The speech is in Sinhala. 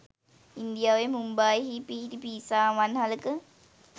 ඉන්දියාවේ මුම්බායිහි පිහිටි පීසා අවන්හලක